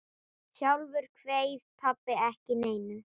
Sjálfur kveið pabbi ekki neinu.